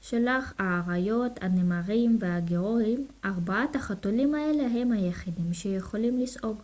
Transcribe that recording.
שלח האריות הנמרים והיגוארים. ארבעת החתולים האלה הם היחידים שיכולים לשאוג